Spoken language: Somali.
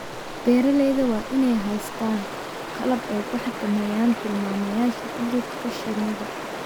Beeralayda waa inay haystaan ??qalab ay ku xakameeyaan tilmaamayaasha cudurka shinnida.